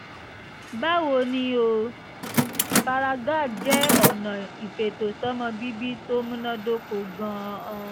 báwo ni o? paragard jẹ́ ọ̀nà ìfètòsọ́mọbíbí tó múnádóko gan-an